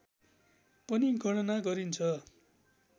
पनि गणना गरिन्छ